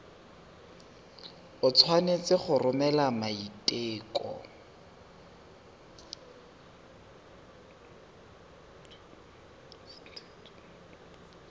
o tshwanetse go romela maiteko